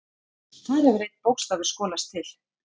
Þar hefur einn bókstafur skolast til.